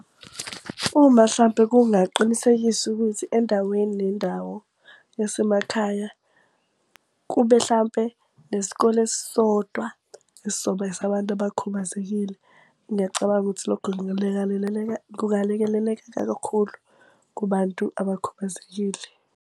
Uma hlampe kungaqinisekisa ukuthi endaweni nendawo yasemakhaya kube hlampe nesikole esisodwa esizoba esabantu abakhubazekile. Ngiyacabanga ukuthi lokho kungalekeleleka kakhulu kubantu abakhubazekile.